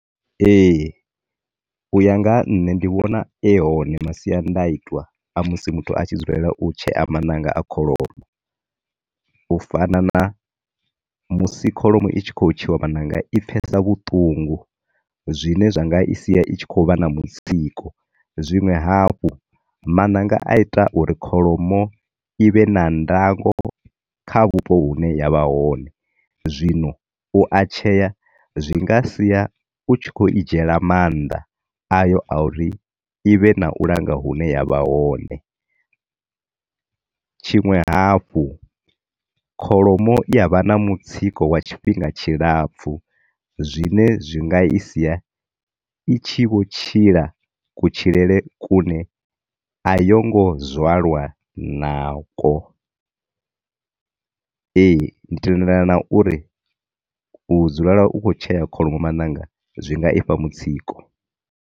Ee, u ya nga ha nṋe ndi vhone e hone masiandaitwa a musi muthu a tshi dzulela u tshea maṋanga a kholomo u fana na musi kholomo i tshi khou tsheiwa maṋanga i pfesa vhuṱungu zwine zwanga i sia i tshi khou vha na mutsiko. Zwiṅwe hafhu maṋanga a ita uri kholomo i vhe na ndako kha vhupo vhune ya vha hone, zwino u a tsheya zwi nga sia u i tshi khou dzhiela maanḓa, ayo a uri ivhe na u langa hune ya vha hone. Tshiṅwe hafhu, kholomo i yavha na mutsiko wa tshifhinga tshilapfu zwine zwi nga i sia i tshi vho tshila ku tshilele kune a yo ngo zwalwa na ko. Ee, ndi tendelani na uri u dzulela u tshi khou tshea kholomo maṋanga zwi nga ifha mutsiko.